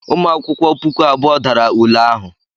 Ụmụ akwụkwọ puku abụọ dara ule ahụ.